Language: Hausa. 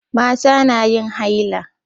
Mata na yin haila.